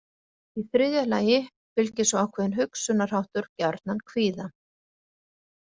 Í þriðja lagi fylgir svo ákveðinn hugsunarháttur gjarnan kvíða.